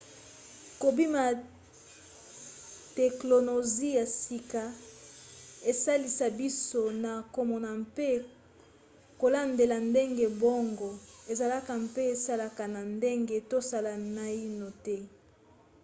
kobima ya teklonozi ya sika esalisa biso na komona mpe kolandela ndenge boongo ezalaka mpe esalaka na ndenge tosala naino te